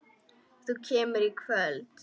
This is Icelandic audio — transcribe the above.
Þú kemur í kvöld!